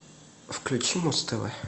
включи муз тв